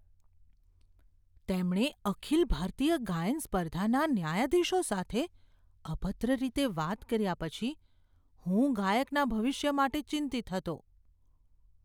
તેમણે અખિલ ભારતીય ગાયન સ્પર્ધાના ન્યાયાધીશો સાથે અભદ્ર રીતે વાત કર્યા પછી હું ગાયકના ભવિષ્ય માટે ચિંતિત હતો.